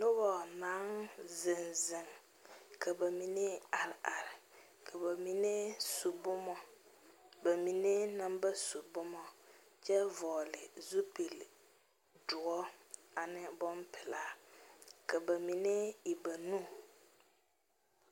Noba naŋ zeŋɛ zeŋɛ ka ba mine are are ka ba mine su boma ba mine meŋ ba su bomakyɛ vɔgeli zupili doɔre ane bonpelaa ka ba mine e ba nu